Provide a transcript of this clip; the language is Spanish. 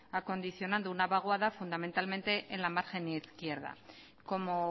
acondicionando una vaguada fundamentalmente en la margen izquierda como